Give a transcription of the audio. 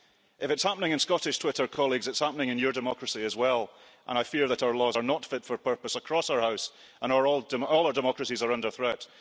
If it's happening in Scottish Twitter, colleagues, it's happening in your democracy as well, and I fear that our laws are not fit for purpose across our House and our all our democracies are under threat.